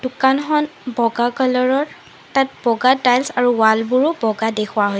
দোকানখন বগা কালাৰ ৰ তাত বগা টাইলছ আৰু ৱাল বোৰো বগা দেখুওৱা হৈছে।